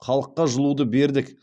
халыққа жылуды бердік